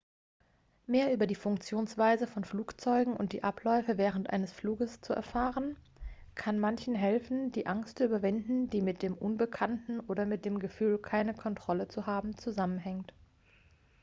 mehr über die funktionsweise von flugzeugen und die abläufe während eines fluges zu erfahren kann manchen helfen die angst zu überwinden die mit dem unbekannten oder mit dem gefühl keine kontrolle zu haben zusammenhängt